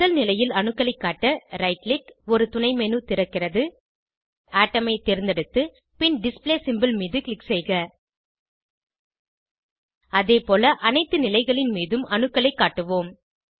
முதல் நிலையில் அணுக்களைக் காட்ட ரைட் க்ளிக் ஒரு துணை மேனு திறக்கிறது அட்டோம் ஐ தேர்ந்தெடுத்து பின் டிஸ்ப்ளே சிம்போல் மீது க்ளிக் செய்க அதேபோல அனைத்து நிலைகளின் மீதும் அணுக்களைக் காட்டுவோம்